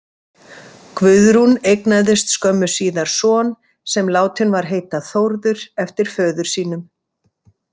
Guðrún eignaðist skömmu síðar son sem látinn var heita Þórður eftir föður sínum.